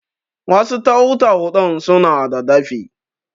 wasu tau-tau ɗin suna da dafi?